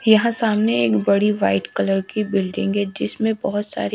यहाँ सामने एक बड़ी वाइट कलर की बिल्डिंग हें जिस में बहोत सारे--